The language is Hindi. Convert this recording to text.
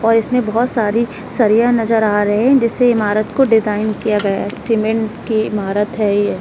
और इसमें बहुत सारी सरिया नजर आ रहे हैं जिससे इमारत को डिजाइन किया गया है सीमेंट के इमारत है ये।